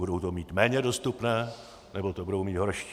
Budou to mít méně dostupné, nebo to budou mít horší.